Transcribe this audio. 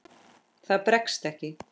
Það bregst ekki.